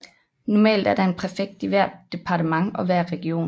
Normalt er der en præfekt i hvert departement og hver region